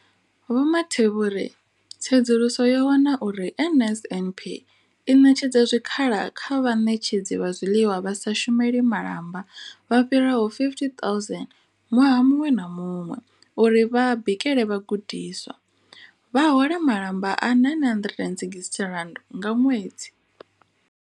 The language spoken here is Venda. Vho Mathe vho ri, Tsedzuluso yo wana uri NSNP i ṋetshedza zwikhala kha vhaṋetshedzi vha zwiḽiwa vha sa shumeli malamba vha fhiraho 50 000 ṅwaha muṅwe na muṅwe uri vha bikele vhagudiswa, vha hola malamba a R960 nga ṅwedzi.